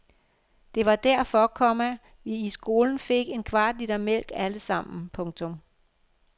Det var derfor, komma vi i skolen fik en kvart liter mælk alle sammen. punktum